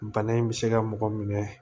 Bana in bɛ se ka mɔgɔ minɛ